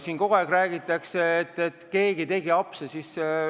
Siin kogu aeg räägitakse, et keegi tegi apse.